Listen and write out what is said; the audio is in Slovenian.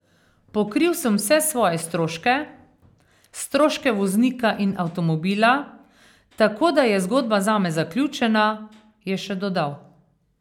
Pokril sem vse svoje stroške, stroške voznika in avtomobila, tako da je zgodba zame zaključena, je še dodal.